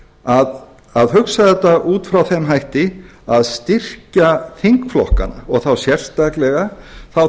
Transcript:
að hugsa þetta út frá þeim hætti að styrkja þingflokkana og þá sérstaklega þá